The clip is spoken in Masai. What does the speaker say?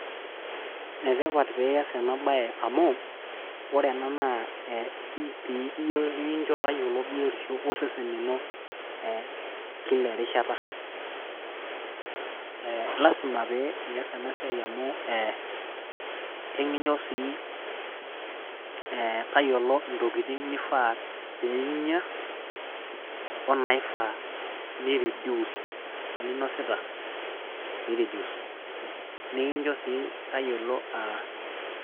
ene tipat pee iyas ena baye amu ore ena naa EP nikicho tayiolo biotisho osesen lino, kila erishata ilasima pee iyas ena siai amu ekicho tayiolo ntokitin nifaa pee inya onaifaa ni reduce.